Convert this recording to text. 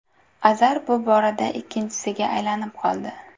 Azar bu borada ikkinchiga aylanib oldi.